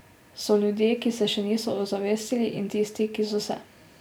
So ljudje, ki se še niso ozavestili, in tisti, ki so se.